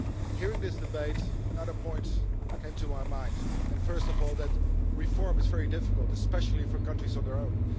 Hearing this debate, another point came to my mind first of all that reform is very difficult, especially for countries on their own.